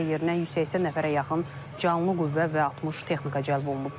Hadisə yerinə 180 nəfərə yaxın canlı qüvvə və 60 texnika cəlb olunub.